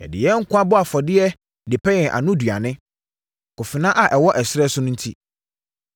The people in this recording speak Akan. Yɛde yɛn nkwa bɔ afɔdeɛ de pɛ yɛn anoduane, akofena a ɛwɔ ɛserɛ so no enti.